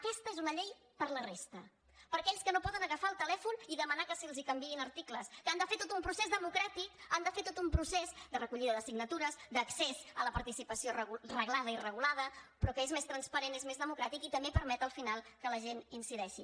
aquesta és una llei per a la resta per a aquells que no poden agafar el telèfon i demanar que se’ls canviïn articles que han de fer tot un procés democràtic han de fer tot un procés de recollida de signatures d’accés a la participació reglada i regulada però que és més transparent és més democràtic i també permet al final que la gent hi incideixi